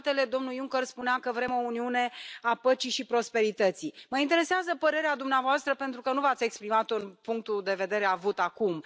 Între altele, domnul Juncker spunea că vrem o Uniune a păcii și prosperității. Mă interesează părerea dumneavoastră, pentru că nu v ați exprimat punctul de vedere acum.